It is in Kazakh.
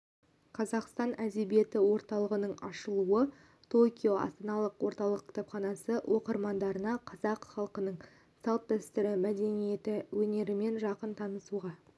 қазақстан әдебиеті орталығының ашылуы токио астаналық орталық кітапханасы оқырмандарына қазақ халқының салт-дәстүрі мәдениеті өнерімен жақын танысуға